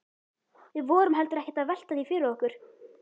Við vorum heldur ekkert að velta því fyrir okkur.